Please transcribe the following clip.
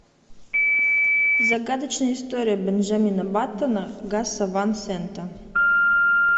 загадочная история бенджамина баттона гаса ван сента